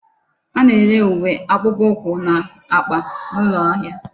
A na-ere uwe, akpukpukwu na akpa n'ulo ahia